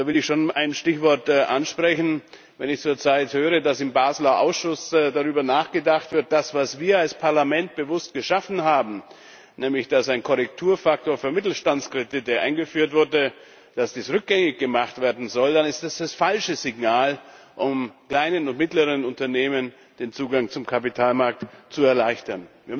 Da will ich schon ein Stichwort ansprechen Wenn ich zurzeit höre, dass im Baseler Ausschuss darüber nachgedacht wird, dass das, was wir als Parlament bewusst geschaffen haben nämlich dass ein Korrekturfaktor für Mittelstandskredite eingeführt wurde rückgängig gemacht werden soll, dann ist es das falsche Signal, um kleinen und mittleren Unternehmen den Zugang zum Kapitalmarkt zu erleichtern.